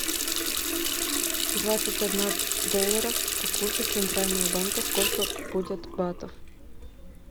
двадцать одна долларов по курсу центрального банка сколько будет батов